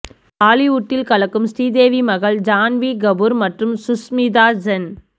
பாலிவுடில் கலக்கும் ஸ்ரீதேவி மகள் ஜான்வி கபூர் மற்றும் சுஷ்மிதா சென்